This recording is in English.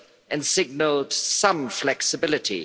and signalled some flexibility